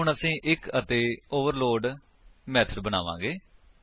ਹੁਣ ਅਸੀ ਇੱਕ ਅਤੇ ਓਵਰਲੋਡ ਮੇਥਡ ਬਣਾਵਾਂਗੇ